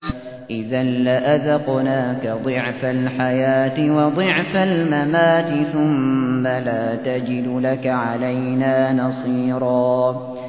إِذًا لَّأَذَقْنَاكَ ضِعْفَ الْحَيَاةِ وَضِعْفَ الْمَمَاتِ ثُمَّ لَا تَجِدُ لَكَ عَلَيْنَا نَصِيرًا